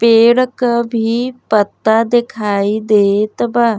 पेड़ क भी पत्ता देखाई देत बा।